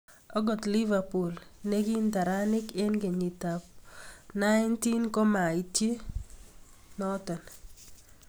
Okot liverpool ne ki ntaranik eng kenyit ab 90 ko maityi turishe noto.